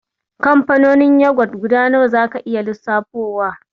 Kamfanonin yagwat guda nawa zaka iya lissafowa?